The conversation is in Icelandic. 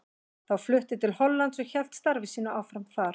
Þá flutti til Hollands og hélt starfi sínu áfram þar.